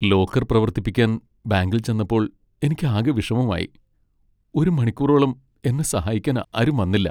Locker പ്രവർത്തിപ്പിക്കാൻ ബാങ്കിൽ ചെന്നപ്പോൾ എനിക്കാകെ വിഷമമായി , ഒരു മണിക്കൂറോളം എന്നെ സഹായിക്കാൻ ആരും വന്നില്ല.